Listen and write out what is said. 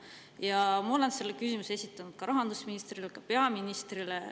Ma olen selle kohta ühe konkreetse küsimuse esitanud rahandusministrile, samuti peaministrile.